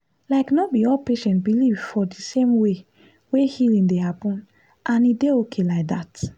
like no be all patients believe for the same way wey healing dey happen and e dey okay like that.